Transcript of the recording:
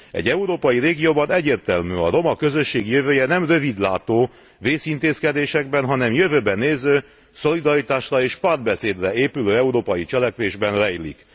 Egy európai régióban egyértelmű a roma közösség jövője nem rövidlátó részintézkedésekben, hanem jövőbe néző, szolidaritásra és párbeszédre épülő európai cselekvésben rejlik.